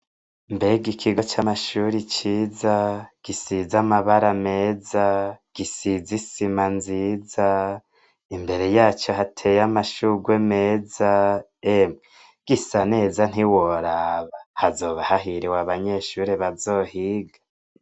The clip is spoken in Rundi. Mbega Ikigo c'Amashure ciza,! gisize amabara meza, gisize isima nziza, imbere yaco hateye amashurwe meza, emwe gisaneza ntiworaba, hazoba hahiriwe abanyeshure bazohiga!